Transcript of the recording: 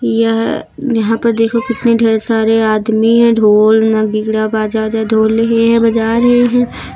यह यहां पर देखो कितने ढ़ेर सारे आदमी हैं ढोल नगीड़ा बाजा वोजा ढोल लिए हैं बजा रहे हैं।